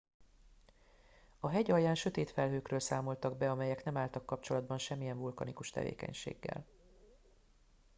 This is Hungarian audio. a hegy alján sötét felhőkről számoltak be amelyek nem álltak kapcsolatba semmilyen vulkanikus tevékenységgel